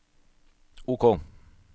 OK